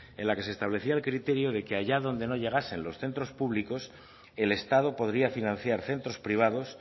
en la que se establecía el criterio de que allá donde no llegasen los centros públicos el estado podría financiar centros privados